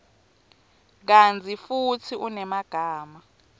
kantsi futsi unemagama